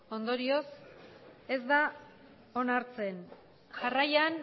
ondorioz ez da onartzen jarraian